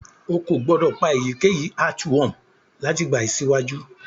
O ko gbodo pa eyikeyi earthworm lati bayi siwaju.